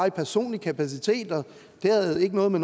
i personlig kapacitet og det havde noget med